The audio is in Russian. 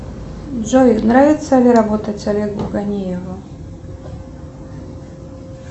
джой нравится ли работать с олегом ганиевым